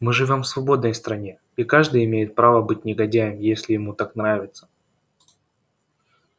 мы живём в свободной стране и каждый имеет право быть негодяем если ему так нравится